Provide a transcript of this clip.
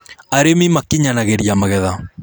arĩmi makĩnyanagiria magetha